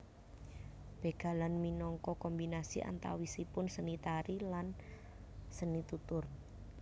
Bégalan minangka kombinasi antawisipun seni tari lan seni tutur